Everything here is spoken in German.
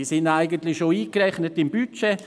Diese sind eigentlich schon im Budget eingerechnet.